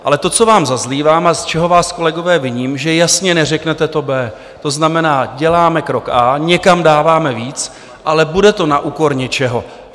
Ale to, co vám zazlívám a z čeho, vás, kolegové, viním, že jasně neřeknete to B, to znamená, děláme krok A, někam dáváme víc, ale bude to na úkor něčeho.